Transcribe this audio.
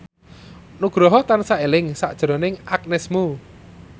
Nugroho tansah eling sakjroning Agnes Mo